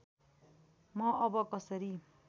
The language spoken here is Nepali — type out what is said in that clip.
म अब कसरी